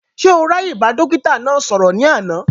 Ṣé o ráàyè bá dókítà náà sọ̀rọ̀ ní àná?